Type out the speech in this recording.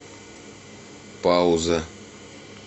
пауза